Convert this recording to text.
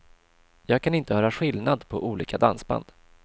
Jag kan inte höra skillnad på olika dansband.